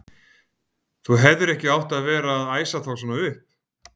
Þú hefðir ekki átt að vera að æsa þá svona upp!